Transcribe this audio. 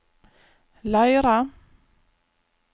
Leira